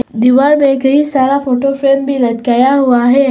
दीवार में कई सारा फोटो फ्रेम भी लटकाया हुआ है।